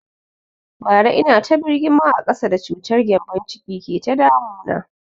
Bara ina ta birgima a ƙasa da cutar gembon ciki ke ta damu na